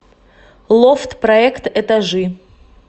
лофт проект этажи